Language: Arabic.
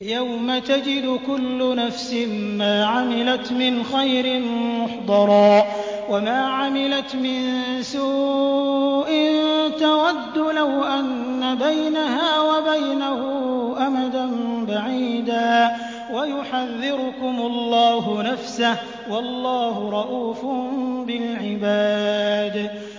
يَوْمَ تَجِدُ كُلُّ نَفْسٍ مَّا عَمِلَتْ مِنْ خَيْرٍ مُّحْضَرًا وَمَا عَمِلَتْ مِن سُوءٍ تَوَدُّ لَوْ أَنَّ بَيْنَهَا وَبَيْنَهُ أَمَدًا بَعِيدًا ۗ وَيُحَذِّرُكُمُ اللَّهُ نَفْسَهُ ۗ وَاللَّهُ رَءُوفٌ بِالْعِبَادِ